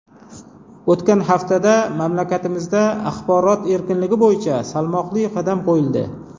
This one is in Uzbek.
O‘tgan haftada mamlakatimizda axborot erkinligi bo‘yicha salmoqli qadam qo‘yildi.